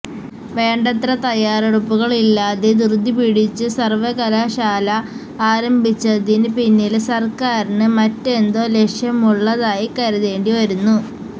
വേണ്ടത്ര തയ്യാറെടുപ്പുകള് ഇല്ലാതെ ധൃതി പിടിച്ച് സര്വകലാശാല ആരംഭിച്ചതിന് പിന്നില് സര്ക്കാരിന് മറ്റെന്തോ ലക്ഷ്യം ഉള്ളതായി കരുതേണ്ടിവരുന്നു